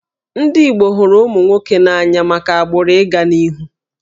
Ndị Igbo hụrụ ụmụ nwoke n'anya maka agbụrụ ị ga n'ihu